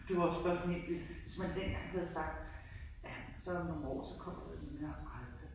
Det var jo også bare sådan helt vildt hvis man dengang havde sagt ja men så om nogen år så kommer der den der iPad